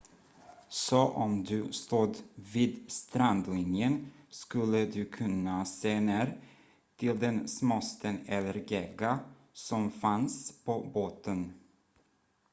så om du stod vid strandlinjen skulle du kunna se ner till den småsten eller gegga som fanns på botten